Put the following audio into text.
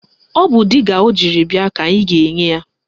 Ọ bụ diga ọ jiri bịa ka anyị ga-enye ya.